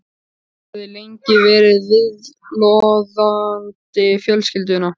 Hann hafði lengi verið viðloðandi fjölskylduna.